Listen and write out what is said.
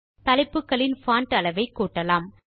தலைப்புகளின் font அளவை கூட்டலாம்